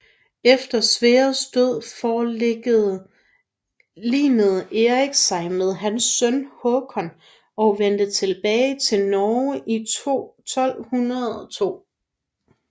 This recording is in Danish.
Efter Sverres død forligede Eirik sig med hans søn Håkon og vendte tilbage til Norge i 1202